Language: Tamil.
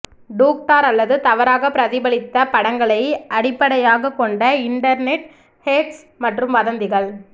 டூக்டார் அல்லது தவறாகப் பிரதிபலித்த படங்களை அடிப்படையாகக் கொண்ட இண்டர்நெட் ஹேக்ஸ் மற்றும் வதந்திகள்